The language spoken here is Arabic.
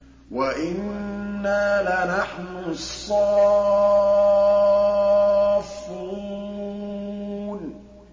وَإِنَّا لَنَحْنُ الصَّافُّونَ